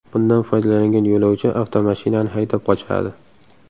Bundan foydalangan yo‘lovchi avtomashinani haydab qochadi.